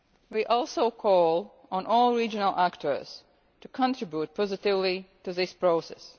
We also call on all regional actors to contribute positively to this process.